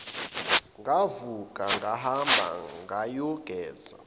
ngavuka ngahamba ngayogeza